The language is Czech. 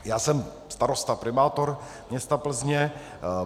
Já jsem starosta, primátor města Plzně.